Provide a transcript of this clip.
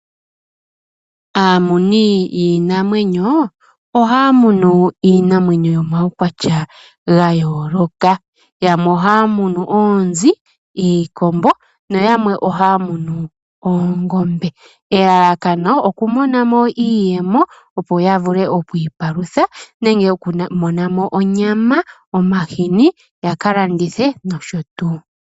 Aamuni yiinamwenyo ohaya munu iinamwenyo yo mawukwatya ga yooloka . Yamwe ohaya munu oonzi, iikombo na yamwe ohaya munu oongombe. Elalakano oku monamo iiyemo opo ya vule oku ipalutha nenge oku monamo onyama .omahini yaka landithe nosho tuu.